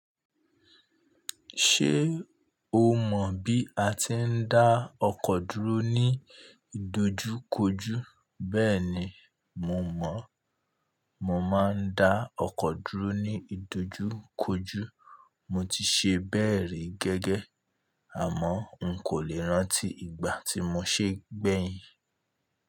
Ṣé o mọ̀ bí a ti ń dá ọkọ̀ dúró ní ìdojúkojú? Bẹ́ẹ̀ni mo mọ̀. Mo máa ń dá ọkọ̀ dúró ní ìdojúkojú. Mo ti ṣe bẹ́ẹ̀ rí gẹ́gẹ́, àmọ́ n kò lè rántí ìgbà tí mo ṣe gbeyin.